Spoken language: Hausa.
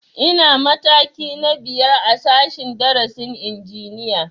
Ina mataki na biyar a sashen darasin injiniya